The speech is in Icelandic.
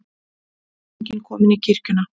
Drottning komin í kirkjuna